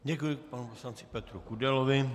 Děkuji panu poslanci Petru Kudelovi.